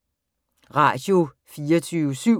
Radio24syv